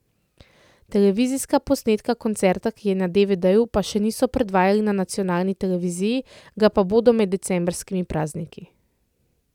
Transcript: Televizijskega posnetka koncerta, ki je na devedeju, pa še niso predvajali na nacionalni televiziji, ga pa bodo med decembrskimi prazniki.